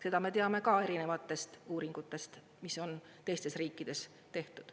Seda me teame ka erinevatest uuringutest, mis on teistes riikides tehtud.